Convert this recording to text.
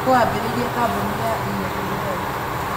Nũũ waambĩrĩirie kambuni ya EABL?